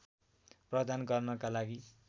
प्रदान गर्नका लागि